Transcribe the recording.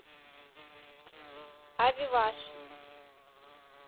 авиваж